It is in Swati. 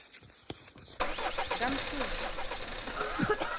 kamhlushwa